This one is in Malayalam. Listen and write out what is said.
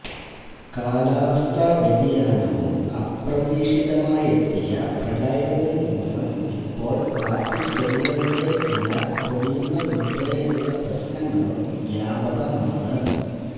കാലാവസ്ഥാ വ്യതിയാനവും അപ്രതീക്ഷിതമായെത്തിയ പ്രളയവും മൂലം ഇപ്പോള് കാപ്പിച്ചെടികളുടെ ഇല കൊഴിയുന്നതുള്പ്പെടെയുള്ള പ്രശ്നങ്ങളും വ്യാപകമാണ്